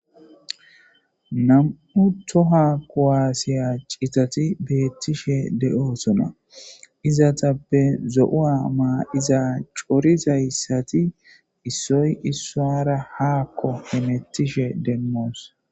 Nam'u toha kowaasiya citati beettishe de7oosona izatappe zo'oa maa iza corizayssati issoy issaara haakko hemettishe demmoos.